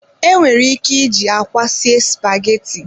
Enwere ike iji akwa sie spaghetti.